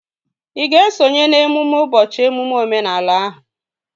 Ị ga-esonye n'emume ụbọchị emume omenala ahụ?